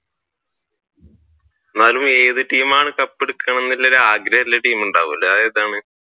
അന്നാലും ഏതു ടീമാണ് കപ്പ് എടുക്കണം എന്നുള്ള ആഗ്രഹം ഉള്ള ടീം ഉണ്ടാവുമല്ലോ അത് ഏതാണ്?